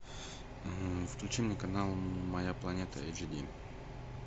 включи мне канал моя планета эйч ди